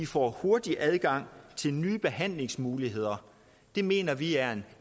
får hurtig adgang til nye behandlingsmuligheder det mener vi er en